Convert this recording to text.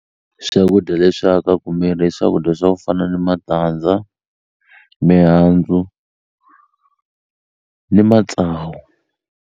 Swakudya leswi akaku miri i swakudya swa ku fana ni matandza mihandzu ni matsavu.